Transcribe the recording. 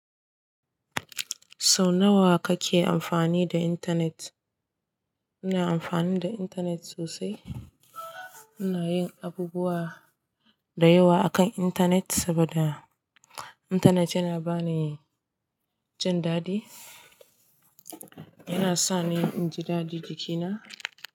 Sau nawa kake amfani da intanet? Ina amfani da intanet sosai. Ina yin abubuwa da yawa akan intanet saboda intanet yana ba ni jin daɗi. Yana sa ni in ji daɗi jikina.